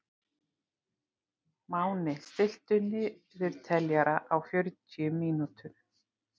Máni, stilltu niðurteljara á fjörutíu mínútur.